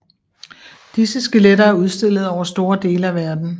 Disse skeletter er udstillet over store dele af verden